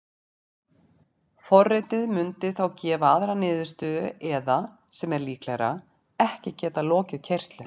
Forritið mundi þá gefa aðra niðurstöðu eða, sem er líklegra, ekki geta lokið keyrslu.